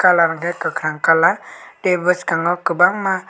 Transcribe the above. colour hwnkhe kwkhwrang colour tei bwskango kwbangma.